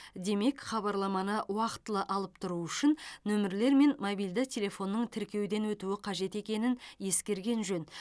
демек хабарламаны уақытылы алып тұру үшін нөмірлер мен мобильді телефонның тіркеуден өтуі қажет екенін ескерген жөн